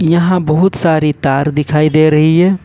यहां बहुत सारी तार दिखाई दे रही हैं।